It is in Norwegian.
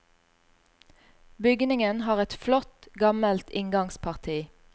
Bygningen har et flott gammelt inngangsparti.